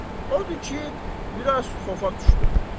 Odur ki, biraz xofa düşdüm.